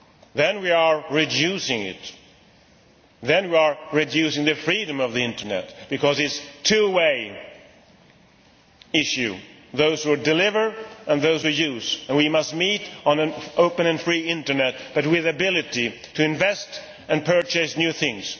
Then we are reducing it, we are reducing the freedom of the Internet because it is a two way issue those who deliver and those who use and we must meet on an open and free Internet but with the ability to invest and purchase new things.